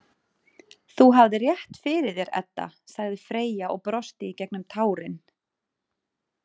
Þú hafðir rétt fyrir þér, Edda, sagði Freyja og brosti í gegnum tárin.